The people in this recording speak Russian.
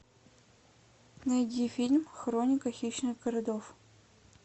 найди фильм хроника хищных городов